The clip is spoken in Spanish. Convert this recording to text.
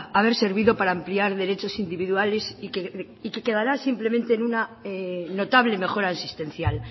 haber servido para ampliar derechos individuales y que quedará simplemente en una notable mejora existencial